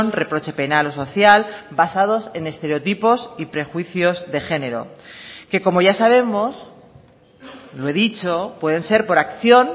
reproche penal o social basados en estereotipos y prejuicios de género que como ya sabemos lo he dicho pueden ser por acción